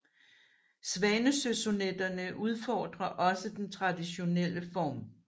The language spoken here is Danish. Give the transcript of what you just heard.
Svanesøsonetterne udfordrer også den traditionelle form